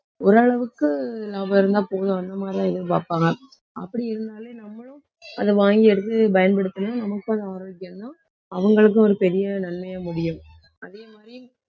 ஒரு அளவுக்கு லாபம் இருந்தா போதும் அந்த மாதிரிதான் எதிர்பார்ப்பாங்க. அப்படி இருந்தாலே நம்மளும் அதை வாங்கி எடுத்து பயன்படுத்தினா நமக்கும் அது ஆரோக்கியம்தான். அவங்களுக்கும் ஒரு பெரிய நன்மையா முடியும். அதே மாதிரி